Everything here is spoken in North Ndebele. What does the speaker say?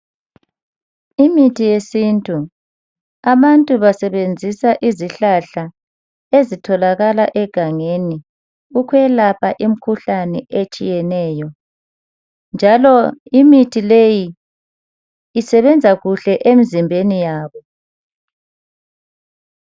Imithi yesintu. Abantu basebenzisa izihlahla ezitholakala egangeni. Ukwelapha imikhuhlane etshiyeneyo, njalo imithi leyi, isebenza kuhle emzimbeni yabo.